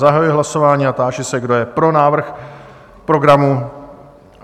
Zahajuji hlasování a táži se, kdo je pro návrh programu?